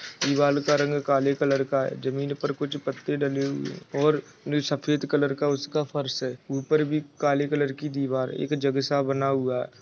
दीवार का रंग काले कलर का है जमीन पर कुछ पत्ते डली हुई है और सफेद कलर का उसका फर्श है ऊपर भी काले कलर की दीवार है रक जग स बना हुआ है।